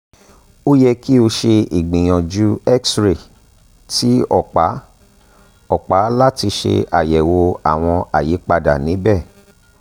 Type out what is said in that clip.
o yẹ ki o ṣe ìgbìyànjú x-ray ti ọpa ọpa lati ṣe àyẹ̀wò àwọn àyípadà níbẹ̀